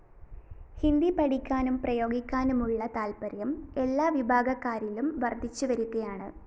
ഹിന്ദി പഠിക്കാനും പ്രയോഗിക്കാനുമുള്ള താല്‍പ്പര്യം എല്ലാ വിഭാഗക്കാരിലും വര്‍ധിച്ചുവരികയാണ്